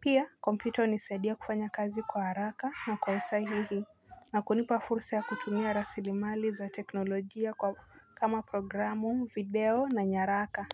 Pia kompyuta hunisaidia kufanya kazi kwa haraka na kwa usahihi na kunipa fursa ya kutumia rasilimali za teknolojia kama programu, video na nyaraka.